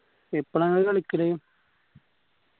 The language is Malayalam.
എപ്പളാ നിങ്ങള് കളിക്കല്